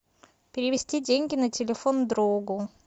перевести деньги на телефон другу